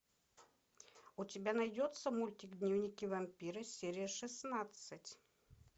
у тебя найдется мультик дневники вампира серия шестнадцать